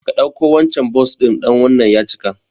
Ka ɗauko wancan Bus ɗin dan wannan ya cika